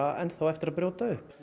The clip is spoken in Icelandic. enn þá á eftir að brjóta upp